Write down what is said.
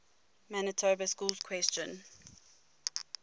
manitoba schools question